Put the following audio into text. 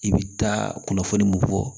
I bɛ taa kunnafoli mun fɔ